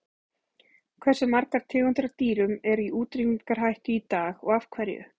Hversu margar tegundir af dýrum eru í útrýmingarhættu í dag og af hverju?